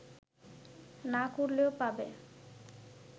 না করলেও পাবে